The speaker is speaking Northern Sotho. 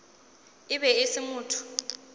e be e se motho